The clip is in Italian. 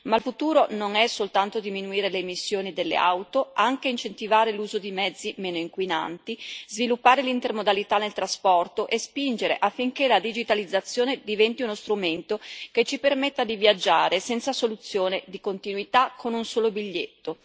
Il futuro non è solo diminuire le emissioni delle auto ma anche incentivare l'utilizzo di mezzi meno inquinanti, sviluppare l'intermodalità nel trasporto e spingere affinché la digitalizzazione diventi uno strumento che ci permetta di viaggiare, senza soluzione di continuità, con un solo biglietto.